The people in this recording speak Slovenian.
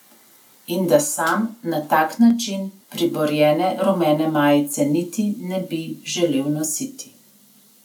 In da sam na tak način priborjene rumene majice niti ne bi želel nositi.